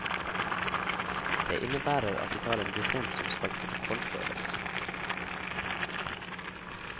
Det innebærer at de tar en dissens som skal protokollføres.